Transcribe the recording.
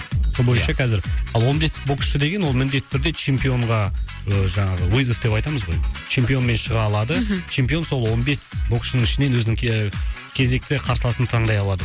сол бойынша қазір ал он бес боксшы деген ол міндетті түрде чемпионға ы жаңағы вызов деп айтамыз ғой чемпионмен шыға алады чемпион сол он бес боксшының ішінен өзінің кезекті қарсыласын таңдай алады